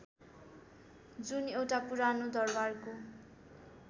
जुन एउटा पुरानो दरबारको